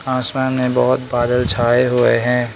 आसमान में बहुत बादल छाए हुए है।